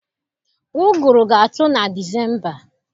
Ụgụrụ ga-atụ na Disemba.